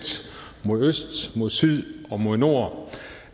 mod øst mod syd og mod nord